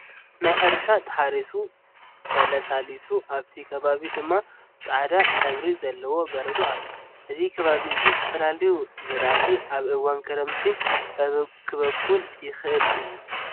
ናይ ሕርሻ ተሓሪሱ ተላሳሊሱ ኣብቲ ከባቢ ድማ ፃሕዳ ሕብሪ ዘለዎ በረዶ ኣለዎ። እዚ ከባቢ እዚ ዝተፈላለዩ ዝራእቲ ኣብ እዋን ክረምቲ ከብቁል ይክእል እዩ።